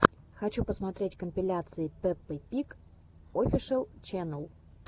хочу посмотреть компиляции пеппы пиг офишэл ченнел